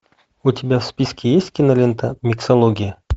у тебя в списке есть кинолента миксология